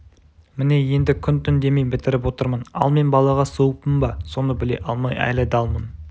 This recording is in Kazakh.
міне енді күн-түн демей бітіріп отырмын ал мен балаға суықпын ба соны біле алмай әлі далмын